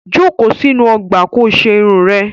Jókòó sínú ọgbà ko ṣe irun rẹ!